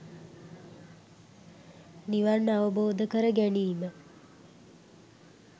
නිවන් අවබෝධ කරගැනීම